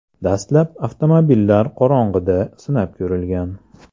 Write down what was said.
Dastlab avtomobillar qorong‘ida sinab ko‘rilgan.